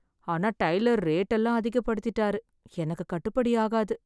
ஆனா tailor rate எல்லாம் அதிகப்படுத்திட்டர். எனக்கு கட்டுபடி ஆகாது